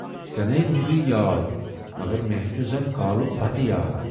ژیے ناے روٗدٕے یاد مگر میہ ہاے چھُ زَن کالُک بَتہٕ یاد۔